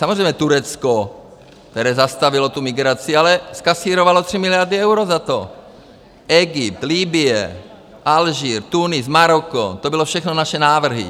Samozřejmě Turecko, které zastavilo tu migraci, ale zkasírovalo 3 miliardy eur za to, Egypt, Libye, Alžír, Tunis, Maroko, to byly všechno naše návrhy.